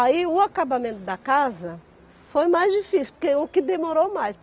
Aí, o acabamento da casa foi mais difícil, porque o que demorou mais.